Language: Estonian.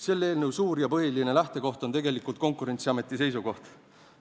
Selle eelnõu suur ja põhimõtteline lähtekoht on tegelikult Konkurentsiameti seisukoht.